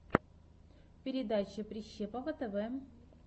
передача прищепова тв